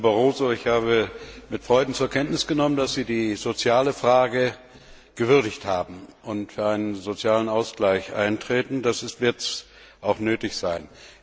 Herr Barroso, ich habe mit Freuden zur Kenntnis genommen, dass Sie die soziale Frage gewürdigt haben und für einen sozialen Ausgleich eintreten. Das wird jetzt auch nötig sein.